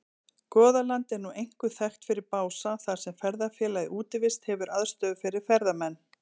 Goðaland er nú einkum þekkt fyrir Bása þar sem ferðafélagið Útivist hefur aðstöðu fyrir ferðamenn.